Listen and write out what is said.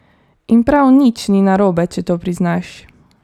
In prav nič ni narobe, če to priznaš.